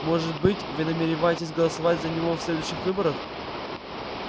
может быть вы намереваетесь голосовать за него в следующих выборах